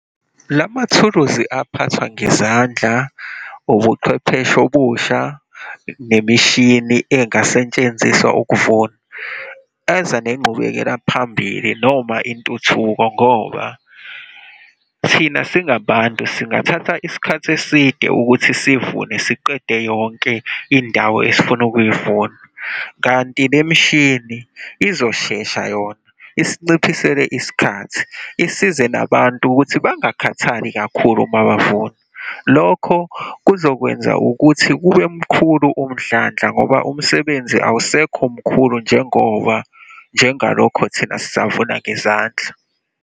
La mathuluzi aphathwa ngezandla, ubuchwepheshe obusha, nemishini engasentshenziswa ukuvuna, eza nenqubekela phambili noma intuthuko. Ngoba thina singabantu, singathatha isikhathi eside ukuthi sivune, siqede yonke indawo esifuna ukuyivuna, kanti lemishini izoshesha yona, isinciphisele isikhathi, isize nabantu ukuthi bangakhathali kakhulu uma bavuna. Lokho kuzokwenza ukuthi kube mkhulu umdlandla ngoba umsebenzi awusekho mkhulu njengoba njengalokho thina sisavuna ngezandla.